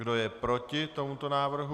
Kdo je proti tomuto návrhu?